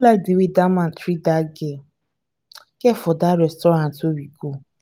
i no like the way dat man treat dat girl girl for dat restaurant we go